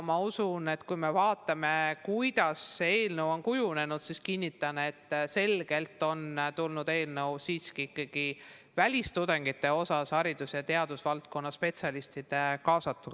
Kui vaatame, kuidas see eelnõu on kujunenud, siis kinnitan, et välistudengite osas on see eelnõu kujunenud selgelt ikkagi haridus- ja teadusvaldkonna spetsialiste kaasates.